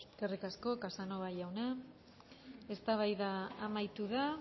eskerrik asko eskerrik asko casanova jauna eztabaida amaitu da